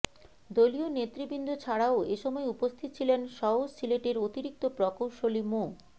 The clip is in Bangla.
দলীয় নেতৃবৃন্দ ছাড়াও এসময় উপস্থিত ছিলেন সওজ সিলেটের অতিরিক্ত প্রকৌশলী মো